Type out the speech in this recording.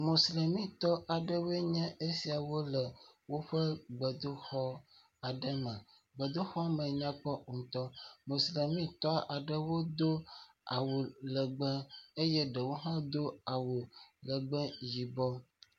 Mosilemitɔ aɖewo nye esia le woƒe gbedoxɔ aɖe me. Gbedoxɔ me nyakpɔ ŋutɔ, mosilemitɔ aɖewo do awu legbe eye ɖewo hã do awu legbe yibɔ.